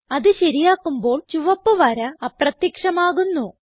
അത് ശരിയാക്കുമ്പോൾ ചുവപ്പ് വര അപ്രത്യക്ഷമാകുന്നു